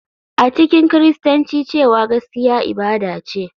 A cikin Kiristanci cewa gaskiya ibada ce,